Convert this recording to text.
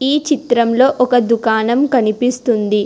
ఈ చిత్రంలో ఒక దుకాణం కనిపిస్తుంది.